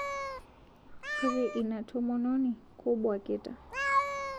Kore inia tomononi kobuakita